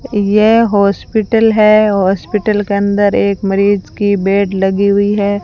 यह हॉस्पिटल है हॉस्पिटल के अंदर एक मरीज की बेड लगी हुई है।